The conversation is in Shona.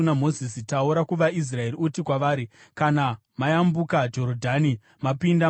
“Taura kuvaIsraeri uti kwavari: ‘Kana mayambuka Jorodhani mapinda muKenani,